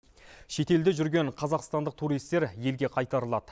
шетелде жүрген қазақстандық туристер елге қайтарылады